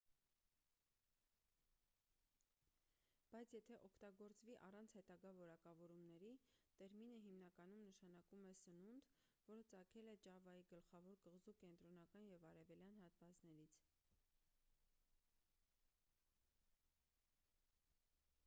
բայց եթե օգտագործվի առանց հետագա որակավորումների տերմինը հիմնականում նշանակում է սնունդ որը ծագել է ճավայի գլխավոր կղզու կենտրոնական և արևելյան հատվածներից